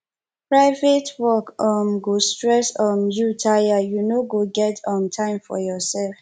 private work um go stress um you tire you no go get um time for yoursef